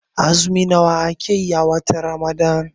Azumi nawa ake yi a watan Ramadan?